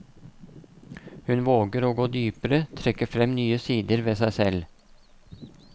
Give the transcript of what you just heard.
Hun våger å gå dypere, trekke frem nye sider ved seg selv.